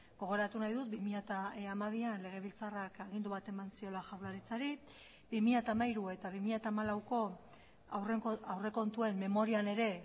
gogoratu nahi dut bi mila hamabian legebiltzarrak agindu bat eman ziola jaurlaritzari bi mila hamairu eta bi mila hamalauko aurrekontuen memorian ere